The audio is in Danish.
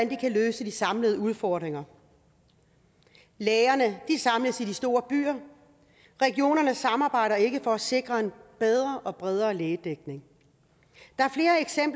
de kan løse de samlede udfordringer lægerne samles i de store byer regionerne samarbejder ikke for at sikre en bedre og bredere lægedækning der